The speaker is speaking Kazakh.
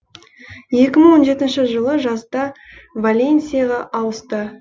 екі мың он жетінші жылы жазда валенсияға ауысты